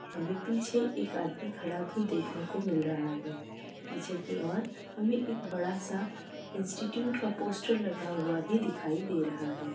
हमें पीछे एक आदमी खड़ा भी देखने को मिल रहा है। पीछे की और हमें एक बढ़ा सा इंस्टिट्यूट का पोस्टर लगा हुआ भी दिखाई दे रहा है।